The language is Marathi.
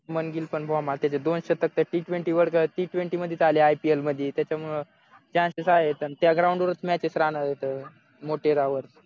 शुभम गिल पण गोमाता त्याचे दोन शतक तर टी ट्वेंटी वाडक टी ट्वेंटी मध्येच आले IPL मधी त्याच्यामुळे चान्सेस आहेत त्या ग्राउंड वरच मॅचेस राहणार आहेतमोटेरा वर